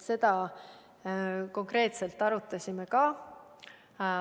Seda konkreetselt me arutasime ka.